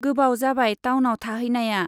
गोबाव जाबाय टाउनाव थाहैनाया।